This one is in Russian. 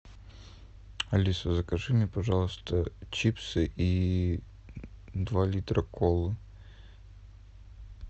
алиса закажи мне пожалуйста чипсы и два литра колы